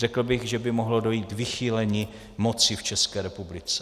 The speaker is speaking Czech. Řekl bych, že by mohlo dojít k vychýlení moci v České republice.